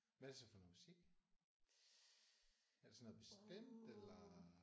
Hvad er det så for noget musik? Er det sådan noget bestemt eller?